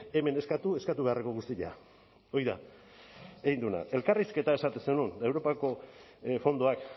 hemen eskatu eskatu beharreko guztia hori da egin duena elkarrizketa esaten zenuen europako fondoak